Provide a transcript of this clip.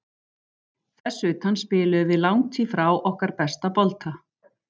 Þess utan spiluðum við langt í frá okkar besta bolta.